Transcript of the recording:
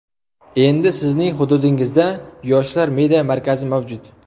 endi Sizning hududingizda "Yoshlar media markazi" mavjud!.